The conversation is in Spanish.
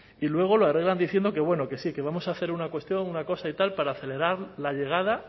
y luego lo arreglan diciendo que bueno que sí que vamos a hacer una cuestión una cosa y tal para acelerar la llegada